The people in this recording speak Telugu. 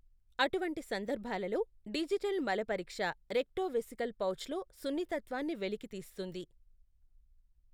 అటువంటి సందర్భాలలో, డిజిటల్ మల పరీక్ష రెక్టోవెసికల్ పౌచ్లో సున్నితత్వాన్ని వెలికితీస్తుంది.